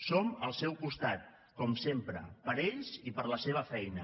som al seu costat com sempre per ells i per la seva feina